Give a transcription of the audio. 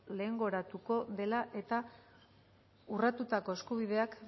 lehengoratuko dela eta urratutako eskubideak